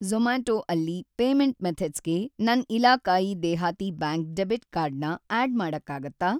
ಜೊ಼ಮ್ಯಾಟೊ ಅಲ್ಲಿ ಪೇಮೆಂಟ್‌ ಮೆಥಡ್ಸ್‌ಗೆ ನನ್‌ ಇಲಾಕಾಯೀ ದೇಹಾತಿ ಬ್ಯಾಂಕ್ ಡೆಬಿಟ್‌ ಕಾರ್ಡ್ ನ ಆಡ್‌ ಮಾಡಕ್ಕಾಗತ್ತಾ?